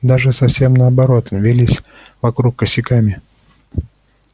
даже совсем наоборот вились вокруг косяками